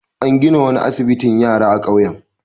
An gina wani asbitin yara a kauyen.